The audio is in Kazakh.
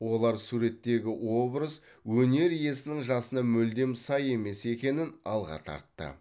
олар суреттегі образ өнер иесінің жасына мүлдем сай емес екенін алға тартты